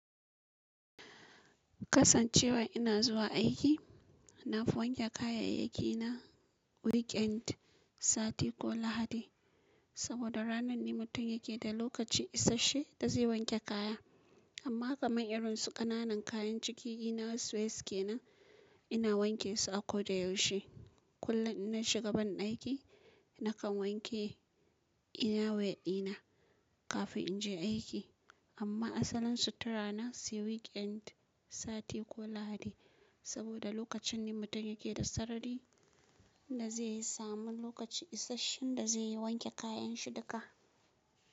Kasancewa ina zuwa aiki, na fi wanke kayayyaki na weekend, sati ko lahadi. Saboda ranar ne mutum yake da lokaci isashe ta zai wanke kaya. Amma kamar irin su ƙananan kayan ciki ina wasweeske nan, ina wanke su a kodayaushe. Kullum ina shiga banɗaki nakan wanke inawa ɗina kafin in je aiki. Amma asalin sutura na si weekend, sati ko lahadi. Saboda lokacin ne mutum yake da sarari da zai samu lokaci isasshen da zai yi wanke kayan shi duka.